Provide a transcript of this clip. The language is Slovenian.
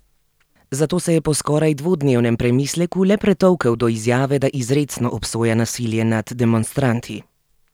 Zato se je po skoraj dvodnevnem premisleku le pretolkel do izjave, da izrecno obsoja nasilje nad demonstranti.